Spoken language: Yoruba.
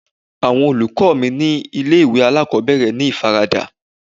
Àwọn olùkọ́ mi ni ilé ìwé alákòbẹ̀rẹ̀ ní ìfaradà.